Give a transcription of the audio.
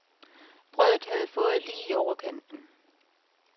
Brødet havde fået lige i overkanten.